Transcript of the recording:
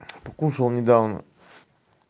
покушал недавно